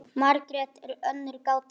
Margrét er önnur gátan til.